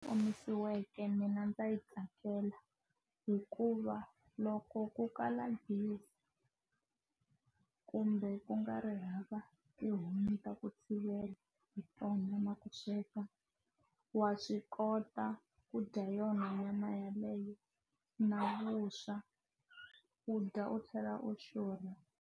Omisiweke mina ndza yi tsakela hikuva loko ku kala gezi kumbe ku nga ri hava tihomu ta ku tshivela hi hi tona ma khenseka wa swi kota ku dya yona nyama yeleyo na vuswa u dya u tlhela u xurha.